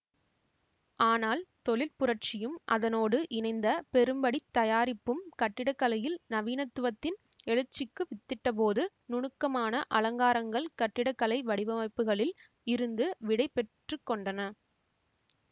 ஆனால் தொழிற்புரட்சியும் அதனோடு இணைந்த பெரும்படித் தயாரிப்பும் கட்டிடக்கலையில் நவீனத்துவத்தின் எழுச்சிக்கு வித்திட்டபோது நுணுக்கமான அலங்காரங்கள் கட்டிடக்கலை வடிவமைப்புக்களில் இருந்து விடை பெற்று கொண்டன